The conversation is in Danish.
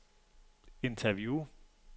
interview